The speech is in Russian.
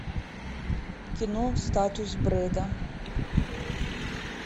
кино статус брэда